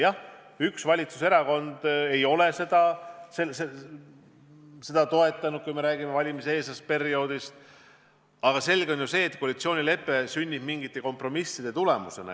Jah, üks valitsuserakond ei ole seda projekti toetanud – kui räägime valimiseelsest perioodist –, aga selge on ju see, et koalitsioonilepe sünnib mingite kompromisside tulemusena.